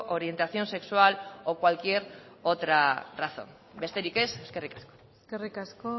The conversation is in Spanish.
orientación sexual o cualquier otra razón besterik ez eskerrik asko eskerrik asko